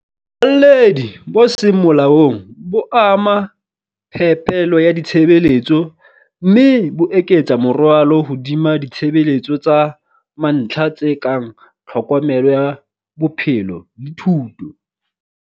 Alledi bo seng molaong bo ama phepelo ya ditshebeletso, mme bo eketsa morwalo hodima ditshebeletso tsa mantlha tse kang tlhokomelo ya bophelo le thuto.